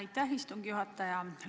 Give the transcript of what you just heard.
Aitäh, istungi juhataja!